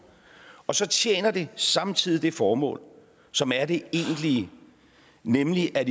og så tjener det samtidig det formål som er det egentlige nemlig at